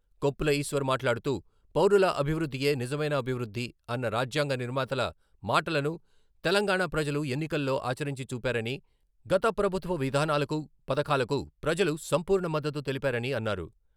కొప్పుల ఈశ్వర్ మాట్లాడుతూ పౌరుల అభివృద్ధియే నిజమైన అభివృద్ధి అన్న రాజ్యాంగ నిర్మాతల మాటలను తెలంగాణ ప్రజలు ఎన్నికల్లో ఆచరించి చూపారని, గత ప్రభుత్వ విధానాలకు, పథకాలకు ప్రజలు సంపూర్ణ మద్దతు తెలిపారని అన్నారు.